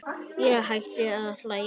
Ég hætti að hlæja.